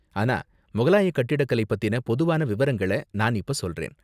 ஆனா முகலாய கட்டிடக்கலை பத்தின பொதுவான விவரங்கள நான் இப்ப சொல்றேன்.